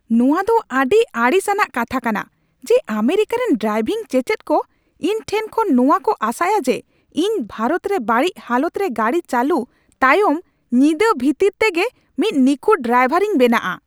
ᱱᱚᱶᱟ ᱫᱚ ᱟᱹᱰᱤ ᱟᱹᱲᱤᱥ ᱟᱱᱟᱜ ᱠᱟᱛᱷᱟ ᱠᱟᱱᱟ ᱡᱮ, ᱟᱢᱮᱨᱤᱠᱟ ᱨᱮᱱ ᱰᱨᱟᱭᱵᱷᱤᱝ ᱪᱮᱪᱮᱫ ᱠᱚ ᱤᱧ ᱴᱷᱮᱱ ᱠᱷᱚᱱ ᱱᱚᱣᱟ ᱠᱚ ᱟᱥᱟᱭᱟ ᱡᱮ ᱤᱧ ᱵᱷᱟᱨᱚᱛ ᱨᱮ ᱵᱟᱹᱲᱤᱡ ᱦᱟᱞᱚᱛᱨᱮ ᱜᱟᱹᱰᱤ ᱪᱟᱹᱞᱩ ᱛᱟᱭᱚᱢ ᱧᱤᱫᱟᱹ ᱵᱷᱤᱛᱟᱹᱨ ᱛᱮᱜᱮ ᱢᱤᱫ ᱱᱤᱠᱷᱩᱴ ᱰᱨᱟᱭᱵᱷᱟᱨᱤᱧ ᱵᱮᱱᱟᱜᱼᱟ ᱾